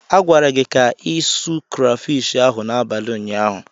A gwara gị ka ịsụ krafish ahụ n'abalị ụnyaahụ.